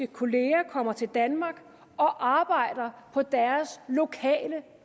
kolleger kommer til danmark og arbejder på deres lokale